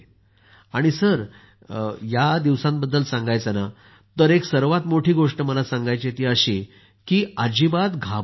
आणि सर या दिवसांबद्दल सांगायचं ना तर एक सर्वात मोठी गोष्ट मला सांगायची आहे ती अशी की अजिबात घाबरू नका